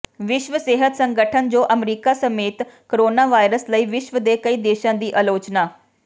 ਵਿਸ਼ਵ ਸਿਹਤ ਸੰਗਠਨ ਜੋ ਅਮਰੀਕਾ ਸਮੇਤ ਕੋਰੋਨਾਵਾਇਰਸ ਲਈ ਵਿਸ਼ਵ ਦੇ ਕਈ ਦੇਸ਼ਾਂ ਦੀ ਅਲੋਚਨਾ